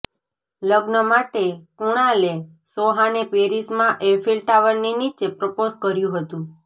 લગ્ન માટે કુણાલે સોહાને પેરિસમાં એફિલ ટાવરની નીચે પ્રપોઝ કર્યું હતું